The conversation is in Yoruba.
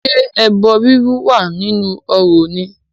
Ṣé ẹbọ rírú wà nínú orò ni?